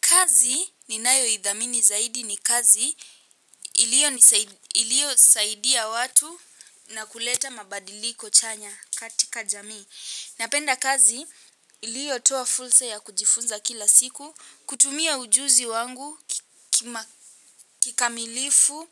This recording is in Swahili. Kazi ninayoithamini zaidi ni kazi ilio nisaidi iliyosaidia watu na kuleta mabadiliko chanya katika jamii. Napenda kazi iliyo toa fursa ya kujifunza kila siku, kutumia ujuzi wangu kikamilifu